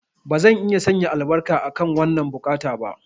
Bazan iya sanya albarka akan wannan buƙata ba.